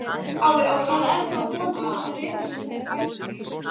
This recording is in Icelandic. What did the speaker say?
Það er þá von til þess að rifrildum þeirra fækki.